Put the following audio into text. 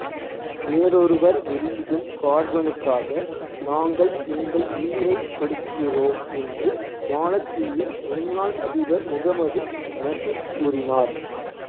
வேறொருவர் வெளியிடும் கார்பனுக்காக நாங்கள் எங்கள் உயிரைக் கொடுக்கிறோம் என்று மாலத்தீவின் முன்னாள் அதிபர் முகமது நஷீத் கூறினார்